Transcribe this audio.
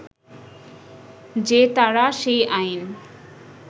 যে তারা সেই আইন